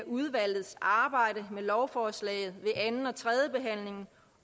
udvalgets arbejde med lovforslaget ved anden og tredjebehandlingen